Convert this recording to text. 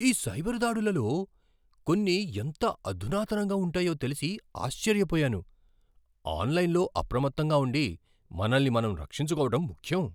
ఈ సైబర్ దాడులలో కొన్ని ఎంత అధునాతనంగా ఉంటాయో తెలిసి ఆశ్చర్యపోయాను. ఆన్లైన్లో అప్రమత్తంగా ఉండి, మనల్ని మనం రక్షించుకోవడం ముఖ్యం.